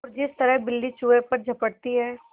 और जिस तरह बिल्ली चूहे पर झपटती है